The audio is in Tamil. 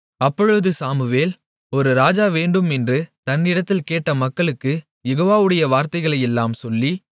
அப்பொழுது சாமுவேல் ஒரு ராஜா வேண்டும் என்று தன்னிடத்தில் கேட்ட மக்களுக்குக் யெகோவாவுடைய வார்த்தைகளையெல்லாம் சொல்லி